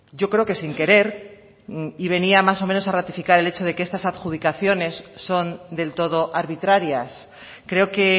yo creo que sin querer y venía más o menos a ratificar el hecho de que estas adjudicaciones son del todo arbitrarias creo que